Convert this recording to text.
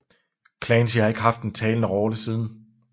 Clancy har ikke haft en talende rolle siden